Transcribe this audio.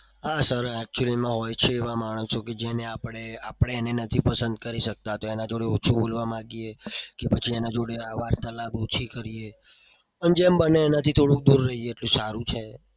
આ sir actually માં હોય છે એવા માણસો જેને આપડે આપડે એને નથી પસંદ કરી શકતા. તો એના જોડે ઓછું બોલવા માંગીએ કે પછી એના જોડે વાર્તાલાપ ઓછી કરીએ અને જેમ બને એમ એનાથી થોડું દુર રહીએ તો સારું છે.